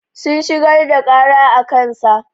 Sun shigar da ƙara a kansa.